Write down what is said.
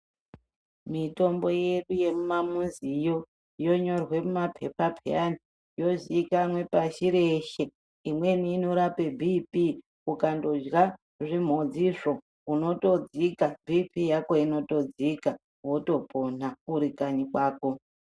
Mitombo yedu yemumamiziyo yonyorwa mumapepa peyani, yozikanwa pashi reshe. Imweni inorape bhiipii ukatorya zvimhodzizvo unotodzika bhiipii yako inotodzia wotopona uri kanyi kwako.